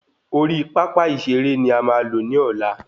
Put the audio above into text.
Orí pápá ìseré ni a máa lo ni ola